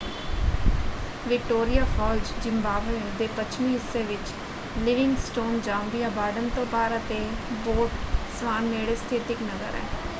Victoria Falls Zimbabwe ਦੇ ਪੱਛਮੀ ਹਿੱਸੇ ਵਿੱਚ ਲਿਵਿੰਗਸਟੋਨ ਜ਼ਾਂਬੀਆ ਬਾਰਡਰ ਤੋਂ ਪਾਰ ਅਤੇ ਬੋਟਸਵਾਨ ਨੇੜੇ ਸਥਿਤ ਇੱਕ ਨਗਰ ਹੈ।